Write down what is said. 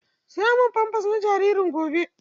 Saya min famfers na jaririn gobe!